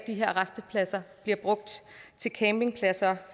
de her rastepladser bliver brugt til campingpladser